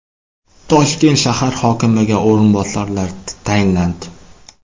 Toshkent shahar hokimiga o‘rinbosarlar tayinlandi.